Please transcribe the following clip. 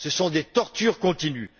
Ce sont des tortures continues.